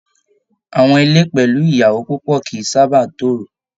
Àwọn ilé pẹlú ìyàwó púpọ kìí sábà n toro.